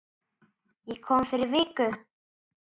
Ég kom fyrir viku